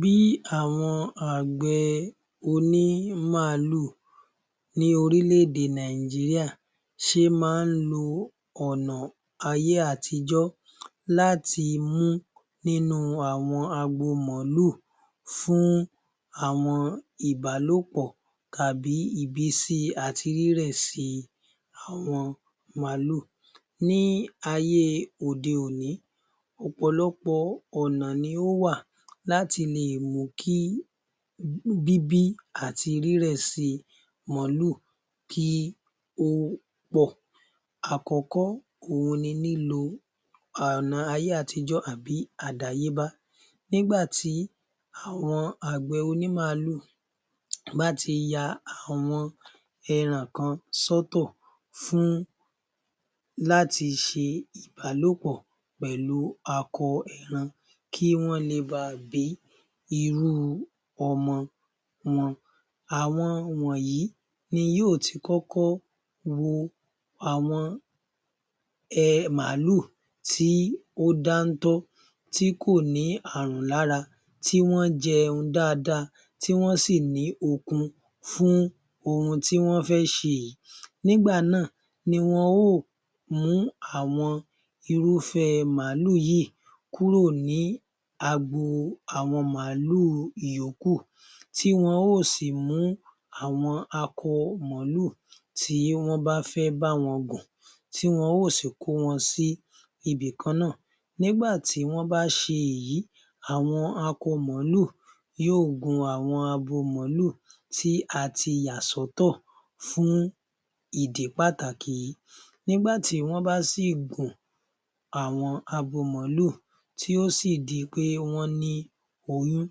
Bí àwọn àgbẹ̀ òní màálù ni orílẹ̀-èdè Nàìjíríà ṣe máa ń lo ọ̀nà ayé àtijọ́ láti mú nínú àwọn agbo màálù fún àwọn ìbálòpọ̀ tàbí ìbìsi àti rírẹ̀ si àwọn màálù. Ní ayé òde-òní, ọ̀pọ̀lọpọ̀ ọ̀nà ni ò wà láti lè mú kí bíbí àti rírẹ̀ si màálù kí ó pọ̀. Àkọ́kọ́ òhun ni lílo ọ̀nà ayé àtijọ́ àbí àdáyébá nígbà tí àwọn àgbẹ̀ òní màálù bá ti ya àwọn ẹran kan sọ́tọ̀ fún láti ṣe ìbálòpọ̀ pẹ̀lú akọ ẹran kí wọ́n le ba bí irú ọmọ wọn. Àwọn wọ̀nyí ni yóò ti kọ́kọ́ wo àwọn màálù tí ó dáńtọ́ tí kò ní àrùn lára tí wọ́n jẹun dáadáa tí wọ́n sì ní okun fún ohun tí wọ́n fẹ́ ṣe yìí. Nígbà náà ni wọn yóò mú àwọn irúfẹ́ màálù yìí kúrò ní agbo àwọn màálù yòókù, tí wọn yóò sì mú àwọn akọ màálù tí wọ́n bá fẹ́ bá wọn gùn tí wọ́n yóò sì kó wọn sí ibìkan náà. Nígbà tí wọ́n bá ṣe èyí,, àwọn akọ màálù yóò gun akọ màálù tí a ti yà sọ́tọ̀ fún ìdí pàtàkì yìí. Nígbà tí wọ́n bá sì gún àwọn abo màálù tí ó di pé wọ́n ní oyún,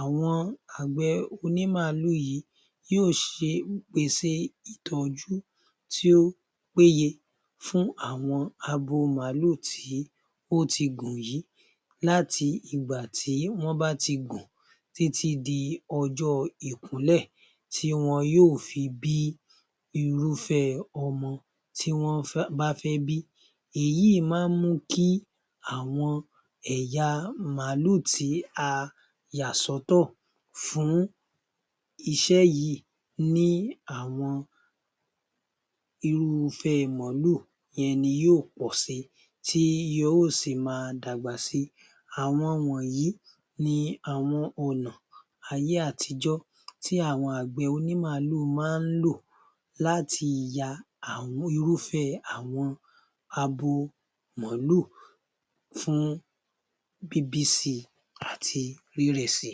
àwọn àgbẹ̀ òní màálù yìí yóò ṣe ìtọ́jú tí ó péye fún àwọn abo màálù tí ó ti gùn yìí láti ìgbà tí wọ́n bá ti gùn títí di ọjọ́ ìkúnlẹ̀ tí wọn yóò fi bí irúfé ọmọ tí wọ́n bá fẹ́ bí, èyí má mú kí àwọn ẹ̀yà màálù tí a yà sọ́tọ̀ fún iṣẹ́ yìí ni àwọn irúfẹ́ màálù yẹn ni yóò pọ̀ si tí wọ́n yóò sì ma dàgbà si. Àwọn wọ̀nyí ni àwọn ọ̀nà ayé àtijọ́ tí àwọn àgbẹ̀ òní màálù máa ń lò láti ya àwọn irúfẹ́ abo màálù fún bíbí si àti rírẹ̀ si.